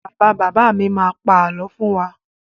Bàbá bàbá mi má pa àlọ́ fún wa.